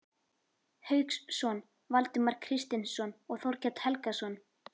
Hauksson, Valdimar Kristinsson og Þorkell Helgason.